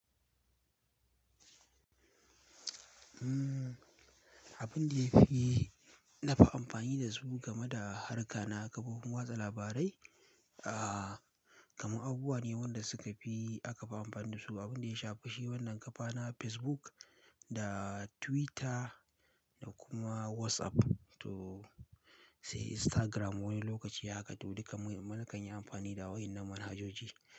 Abin da ya fi na fi amfani da su game da harka na kafofin watsa labarai, ah, kamar abubuwa ne waɗanda suka fi aka fi amfani da su. Abin da ya sha fashi wannan ƙafa na Facebook da Twitter da kuma WhatsApp to say Instagram wani lokaci haka duk mu kan yi amfani da waɗannan manhajoji.